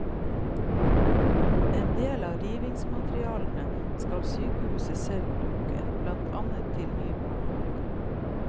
En del av rivningsmaterialene skal sykehuset selv bruke, blant annet til en ny barnehave.